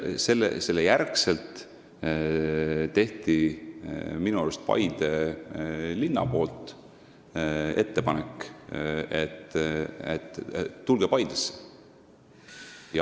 Selle järel tegi minu arust Paide linn ettepaneku, et tulge Paidesse.